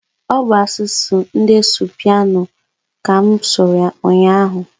ọ bụ asụsụ ndị Supainu ka mụ sụrụ ụnyaahụ.